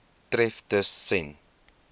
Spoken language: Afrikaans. tref tus sen